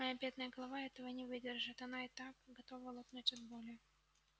моя бедная голова этого не выдержит она и так готова лопнуть от боли